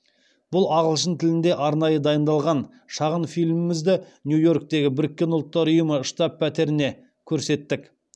бұл ағылшын тілінде арнайы дайындалған шағын фильмімізді нью йорктегі біріккен ұлттар ұйымы штаб пәтерінде көрсеттік